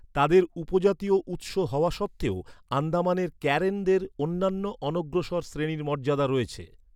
তাদের উপজাতীয় উৎস হওয়া সত্ত্বেও, আন্দামানের কারেনদের অন্যান্য অনগ্রসর শ্রেণীর মর্যাদা রয়েছে।